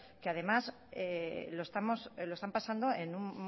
que además están pasando